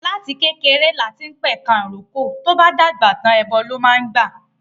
Láti kékeré lati ń p'ẹ̀ka ìrókò, tó'bá dàgbà tàń, ẹbọ ló máa gbà